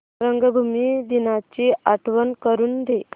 रंगभूमी दिनाची आठवण करून दे